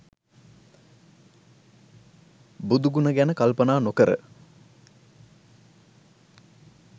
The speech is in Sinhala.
බුදු ගුණ ගැන කල්පනා නොකර